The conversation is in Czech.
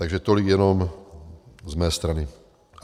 Takže tolik jenom z mé strany.